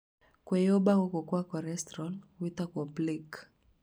Kwĩyũmba gũkũ gwa korestro gwĩtagwo plaque